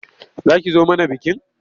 Za ki zo mana bikin?